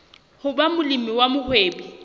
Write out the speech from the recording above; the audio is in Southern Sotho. ho ba molemi wa mohwebi